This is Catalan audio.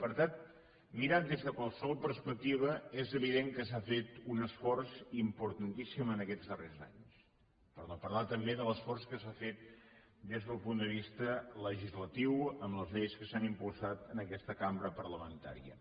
per tant mirat des de qualsevol perspectiva és evident que s’ha fet un esforç importantíssim en aquests darrers anys per no parlar també de l’esforç que s’ha fet des del punt de vista legislatiu amb les lleis que s’han impulsat en aquesta cambra parlamentària